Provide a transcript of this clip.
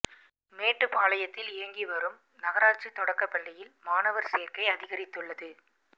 மேட்டுப்பாளையத்தில் இயங்கி வரும் நகராட்சி தொடக்கப் பள்ளியில் மாணவர் சேர்க்கை அதிகரித்துள்ளது